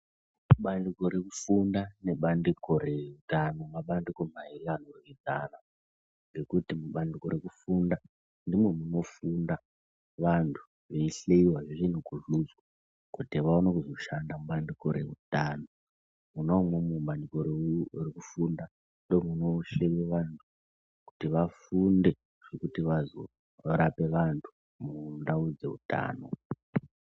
Bandiko rekufunda nebandiko rehutano mabandiko mairi anoryidzana. Ngokuti mubandiko rekufunda ndimo munofunda vantu veisiva zvintu kuzuzu kuti vaone kuzo shanda mubandiko reutano. Mwona imwomwo mubandiko rekufunda ndomunosvine vantu kuti vafunde zvekuti vazorape vantu mundau dzeutano.